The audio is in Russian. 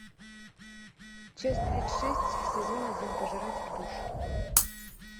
часть тридцать шесть сезон один пожиратель душ